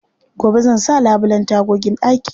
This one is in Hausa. Gobe zan sa labulen tagogin ɗakina.